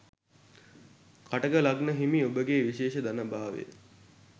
කටක ලග්නය හිමි ඔබගේ විශේෂ ධන භාවය